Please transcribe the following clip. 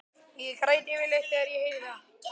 Ég græt yfirleitt þegar ég heyri það.